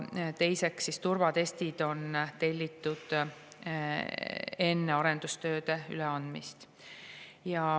Teiseks, turvatestid telliti enne arendustööde üleandmist.